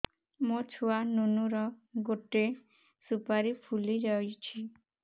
ମୋ ଛୁଆ ନୁନୁ ର ଗଟେ ସୁପାରୀ ଫୁଲି ଯାଇଛି